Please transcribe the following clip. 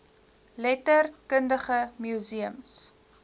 letter kundige museums